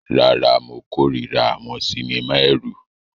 Rárá, mo kórìíra àwọn sinimá ẹ̀rù.